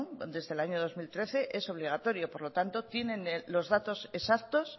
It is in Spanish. desde el año dos mil trece es obligatorio por lo tanto tienen los datos exactos